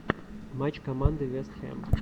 матч команды вест хэм